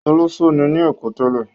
Olọṣó ni ní Èkó tẹ́lẹ̀?